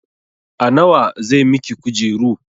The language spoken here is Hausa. A nawa zai miki kujeru?